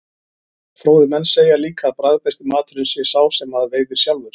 Fróðir menn segja líka að bragðbesti maturinn sé sá sem maður veiðir sjálfur.